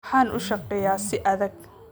Waxaan u shaqeeyaa si adag.